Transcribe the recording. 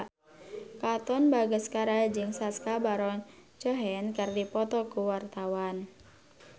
Katon Bagaskara jeung Sacha Baron Cohen keur dipoto ku wartawan